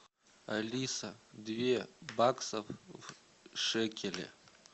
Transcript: алиса две баксов в шекели